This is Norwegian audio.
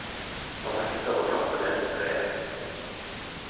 Han nekter å klatre ned fra treet.